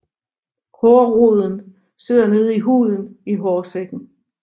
Hårroden sidder nede i huden i hårsækken